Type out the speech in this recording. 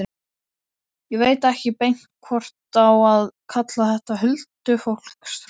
Ég veit ekki beint hvort á að kalla þetta huldufólkstrú.